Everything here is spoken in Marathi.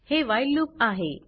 हे व्हाईल लूप आहे